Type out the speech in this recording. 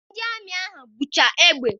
Ndị amị ahụ bucha egbe.